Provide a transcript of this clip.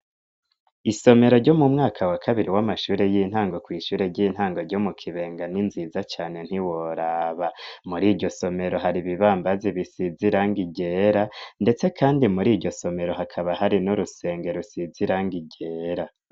isomero ryo mumwaka wa kabiri w'amashure y'intango kw' ishure ry'intango ryo mukibenga n'inziza cane ntiworaba muriryo somero hari ibibambazi bisizirangi ryera ndetse kandi muri ivyo somero hakaba hari no rusengero rusize irangi ryera